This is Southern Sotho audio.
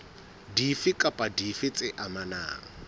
dife kapa dife tse amanang